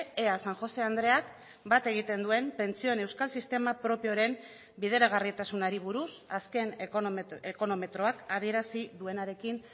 ea san josé andreak bat egiten duen pentsioen euskal sistema propioren bideragarritasunari buruz azken ekonometroak adierazi duenarekin